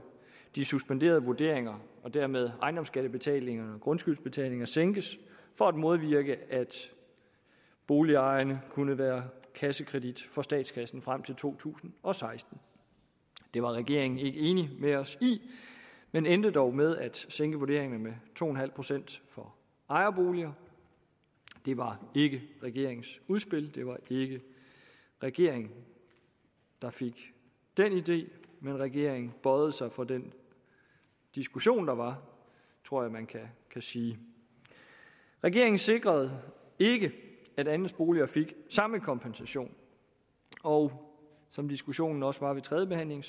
de suspenderede vurderinger og dermed ejendomsskattebetalingerne og grundskyldsbetalingerne sænkes for at modvirke at boligejerne kunne være kassekredit for statskassen frem til to tusind og seksten det var regeringen ikke enig med os i men endte dog med at sænke vurderingerne med to procent for ejerboliger det var ikke regeringens udspil det var ikke regeringen der fik den idé men regeringen bøjede sig for den diskussion der var tror jeg man kan sige regeringen sikrede ikke at andelsboliger fik samme kompensation og som diskussionen også var ved tredjebehandlingen